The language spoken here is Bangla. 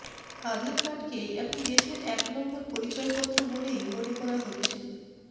আধারকার্ডকে এখন দেশের একনম্বর পরিচয়পত্র বলেই মনে করা হচ্ছে